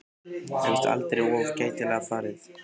Það er víst aldrei of gætilega farið.